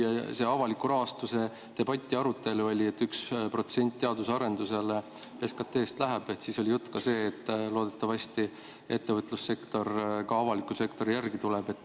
Teine asi on see, et kui avaliku rahastuse debati arutelu oli, et teadusarendusele läheb 1% SKT-st, siis oli juttu ka sellest, et loodetavasti tuleb ettevõtlussektor avalikule sektorile järele.